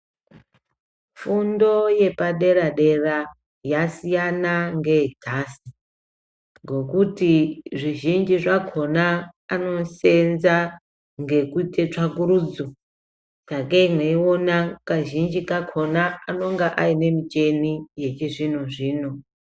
Fundo yepaderadera yasina ngeyenhasi ngekuti zvizhinji zvakona anosenza ngekuite tsvakurudzo sakei mweiona kazhinji kakona anonga aine michini yechizvinozvino.